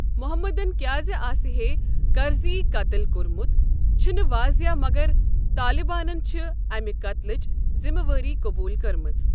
محمدَن کیٛازِ آسہے کرزیی قتٕل کوٚرمُت، چھنہٕ واضح مگر طالبانَن چھِ امہِ قتلٕچ ذمہٕ وٲری قبوٗل کٔرمٕژ۔